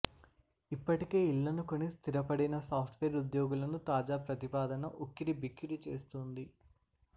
ఇప్పటికే ఇళ్లను కొని స్థిపపడిన సాఫ్టువేర్ ఉద్యోగులను తాజా ప్రతిపాదన ఉక్కిరి బిక్కిరి చేస్తోంది